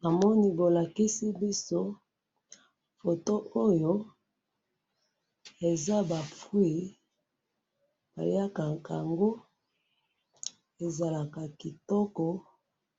namoni bolakisi biso photo oyo, eza ba fruits balyakaka yango, ezalaka kitoko